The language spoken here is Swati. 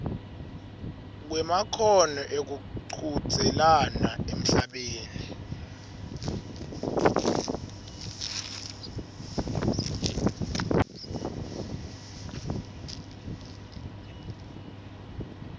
kwemakhono ekuchudzelana emhlabeni